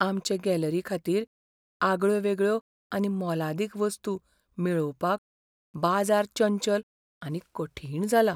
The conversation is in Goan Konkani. आमचे गॅलरीखातीर आगळ्योवेगळ्यो आनी मोलादीक वस्तू मेळोवपाक बाजार चंचल आनी कठीण जाला.